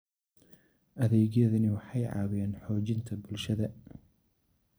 Adeegyadani waxay caawiyaan xoojinta bulshada.